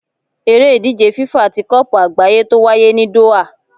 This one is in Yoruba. Eré ìdíje FIFA tí kopu àgbáyé tó wáyé ní Doha